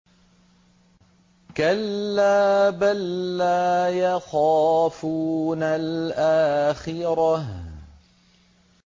كَلَّا ۖ بَل لَّا يَخَافُونَ الْآخِرَةَ